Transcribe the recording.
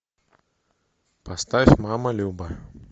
поставь мама люба